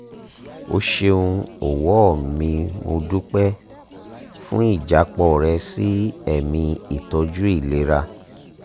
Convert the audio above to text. o ṣeun ọ̀wọ́ mimo dúpẹ́ fún ìjápọ̀ rẹ sí ẹ̀mí ìtọ́jú ìlera